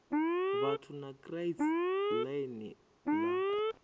vhathu na kraits line la